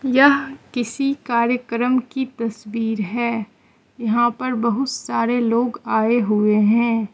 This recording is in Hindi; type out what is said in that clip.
यह किसी कार्यक्रम की तस्वीर है यहां पर बहुत सारे लोग आए हुए हैं।